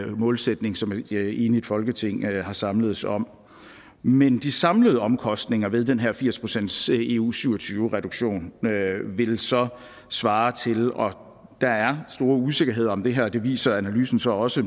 målsætning som et enigt folketing er samledes om men de samlede omkostninger ved den her firs procents eu syv og tyve reduktion vil så svare til og der er store usikkerheder om det her det viser analysen så også